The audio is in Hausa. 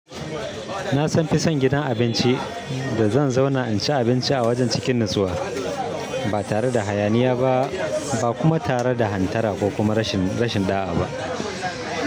Na fi son gidan abinci da zan zauna in ci abinci a wajen cikin natsuwa, ba tare da hayaniya ba, ba kuma tare da hantara ko kuma rashin, rashin ɗa'a ba.